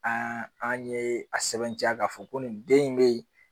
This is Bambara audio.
An an ye a sɛbɛntiya k'a fɔ ko nin den in be yen